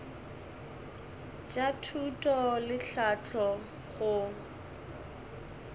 bja thuto le tlhahlo go